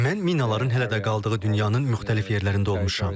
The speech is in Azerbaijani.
Mən minaların hələ də qaldığı dünyanın müxtəlif yerlərində olmuşam.